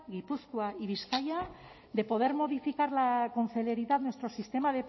gipuzkoa y bizkaia de poder modificarla con celeridad nuestro sistema